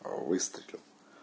выстрелил